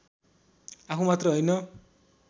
आफू मात्र होइन